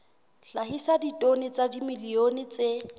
hlahisa ditone tsa dimilione tse